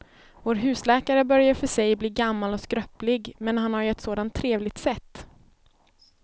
Vår husläkare börjar i och för sig bli gammal och skröplig, men han har ju ett sådant trevligt sätt!